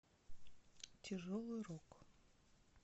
тяжелый рок